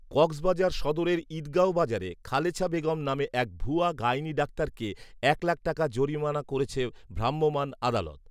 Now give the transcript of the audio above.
কক্সবাজার সদরের ঈঁদগাও বাজারে খালেছা বেগম নামে এক ভুয়া গাইনি ডাক্তারকে এক লাখ টাকা জরিমান করেছে ভ্রাম্যমান আদালত